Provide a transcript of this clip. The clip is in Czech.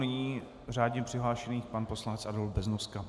Nyní řádně přihlášený pan poslanec Adolf Beznoska.